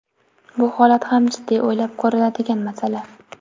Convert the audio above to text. Bu holat ham jiddiy o‘ylab ko‘riladigan masala.